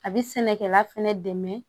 A bɛ sɛnɛkɛla fɛnɛ dɛmɛ